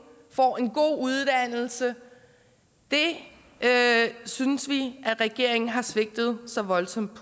får en god uddannelse det synes vi at regeringen har svigtet så voldsomt